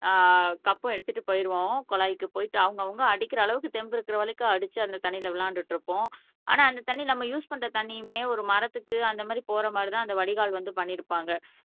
ஆஹ் கப்பும் எடுத்துட்டு போயிடுவோம் குழாய்க்கு போயிட்டு அவங்க அவங்க அடிக்கிற அளவுக்கு தெம்பு இருக்கிற வரைக்கும் அடிச்சு அந்த தண்ணீரில் விளையாண்டுட்டு இருப்போம் ஆனால் அந்த தண்ணி நம்ம யூஸ் பண்ற தண்ணியுமே ஒரு மரத்துக்கு அந்த மாதிரி போற மாதிரி தான் அந்த வடிகால் வந்து பண்ணி இருப்பாங்க